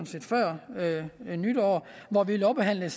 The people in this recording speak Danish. set før nytår lovbehandlede